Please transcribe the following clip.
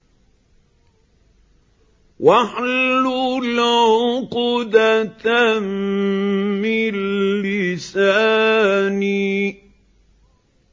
وَاحْلُلْ عُقْدَةً مِّن لِّسَانِي